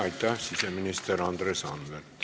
Aitäh, siseminister Andres Anvelt!